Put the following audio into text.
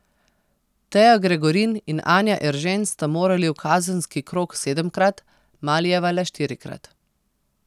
Teja Gregorin in Anja Eržen sta morali v kazenski krog sedemkrat, Malijeva le štirikrat.